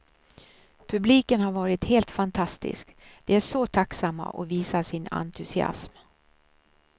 Publiken har varit helt fantastisk, de är så tacksamma och visar sin entusiasm.